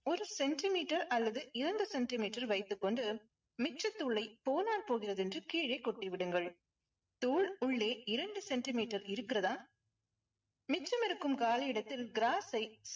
ஒரு centimeter அல்லது இரண்டு centimeter வைத்துக் கொண்டு மிச்சத்தூளை போனால் போகிறது என்று கீழே கொட்டி விடுங்கள். தூள் உள்ளே இரண்டு சென்டிமீட்டர் இருக்கிறதா மிச்சம் இருக்கும் காலி இடத்தில் gross ஐ